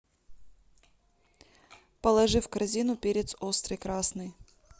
положи в корзину перец острый красный